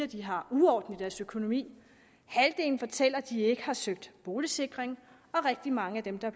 de har uorden i deres økonomi halvdelen fortæller at de ikke har søgt boligsikring og rigtig mange af dem der